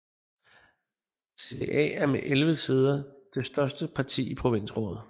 CDA er med 11 sæder det største parti i provinsrådet